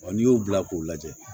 n'i y'o bila k'o lajɛ